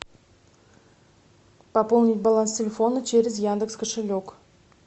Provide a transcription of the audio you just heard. пополнить баланс телефона через яндекс кошелек